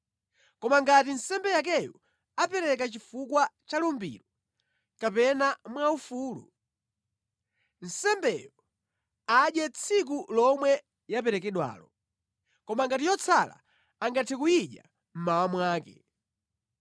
“ ‘Koma ngati nsembe yakeyo apereka chifukwa cha lumbiro kapena mwaufulu, nsembeyo adye tsiku lomwe yaperekedwalo. Koma yotsala angathe kuyidya mmawa mwake.